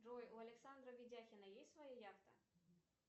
джой у александра ведяхина есть своя яхта